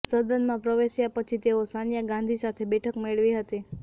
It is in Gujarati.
સદનમાં પ્રવેશ્યા પછી તેઓ સોનિયા ગાંધી સાથે બેઠક મેળવી હતી